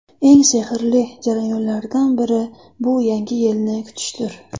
Eng sehrli jarayonlardan biri bu Yangi yilni kutishdir.